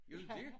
Er du dét?